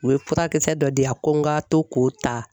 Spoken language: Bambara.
U ye furakisɛ dɔ di yan ko n ka to k'o ta.